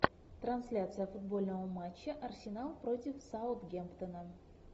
трансляция футбольного матча арсенал против саутгемптона